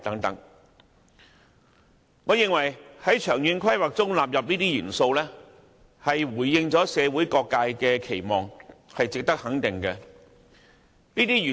在長遠規劃中納入這些元素，回應了社會各界的期望，值得予以肯定。